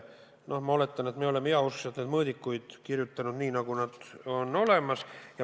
Noh, ma oletan, et me oleme heauskselt neid mõõdikuid kirja pannud nii, nagu need olemas on.